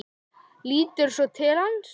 Lítur svo til hans.